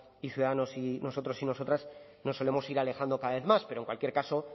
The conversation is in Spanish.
y ciudadanos y nosotros y nosotras nos solemos ir alejando cada vez más pero en cualquier caso